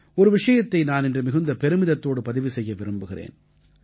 ஒரு விஷயத்தை நான் இன்று மிகுந்த பெருமிதத்தோடு பதிவு செய்ய விரும்புகிறேன்